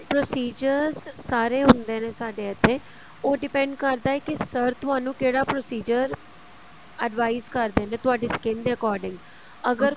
procedure ਸਾਰੇ ਹੁੰਦੇ ਨੇ ਸਾਡੇ ਇੱਥੇ ਉਹ depend ਕਰਦਾ ਹੈ ਕੀ sir ਤੁਹਾਨੂੰ ਕਿਹੜਾ procedure advise ਕਰਦੇ ਨੇ ਤੁਹਾਡੀ skin ਦੇ according ਅਗਰ